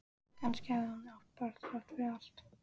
Kannski hafði hún átt barn þrátt fyrir allt.